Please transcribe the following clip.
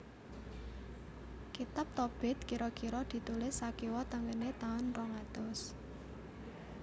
Kitab Tobit kira kira ditulis sakiwa tengené taun rong atus